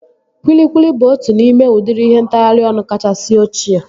Kwilikwili bụ otu n'ime udịri ihe ntagharị ọnụ kachasị ochie